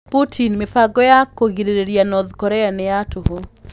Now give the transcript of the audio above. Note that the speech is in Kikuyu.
Putin: Mĩbango ya kũgirĩrĩria North Korea nĩ ya tũhũ